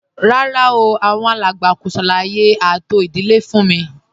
Rárá o, àwọn alàgbà kò ṣàlàyé ààtò ìdílé fún m